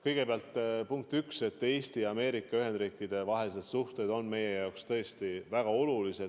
Kõigepealt, punkt üks: Eesti ja Ameerika Ühendriikide vahelised suhted on meie jaoks tõesti väga olulised.